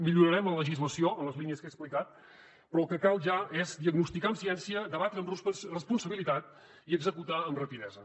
millorarem la legislació en les línies que he explicat però el que cal ja és diagnosticar amb ciència debatre amb responsabilitat i executar amb rapidesa